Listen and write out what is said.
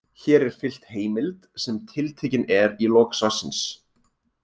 Hér er fylgt heimild sem tiltekin er í lok svarsins.